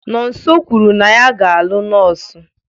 Nonso kwuru na ya ga-alụ nọọsụ.